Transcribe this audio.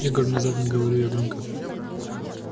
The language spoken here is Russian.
игорь внезапно говорю я громко